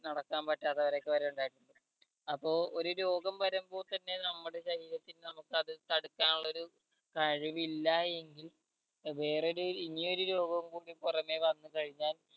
നടക്കാൻ പറ്റാത്തവരൊക്കെ വരെ ഉണ്ടായിട്ടുണ്ട് അപ്പോ ഒരു രോഗം വരുമ്പോൾ തന്നെ നമ്മുടെ ശരീരത്തിന് നമ്മക്ക് അത് തടുക്കാനുള്ളൊരു ആരോഗ്യം ഇല്ല എങ്കിൽ വേറെ ഒരു ഇനിയൊരു രോഗം കൂടി പൊറമെ വന്ന് കഴിഞ്ഞാൽ